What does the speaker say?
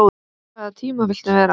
á hvaða tíma viltu vera?